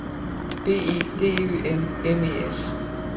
B E D Ø M M E S